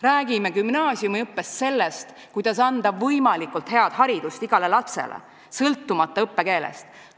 Räägime gümnaasiumiõppes sellest, kuidas anda võimalikult head haridust igale lapsele, sõltumata õppekeelest.